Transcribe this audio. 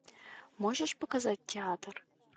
можешь показать театр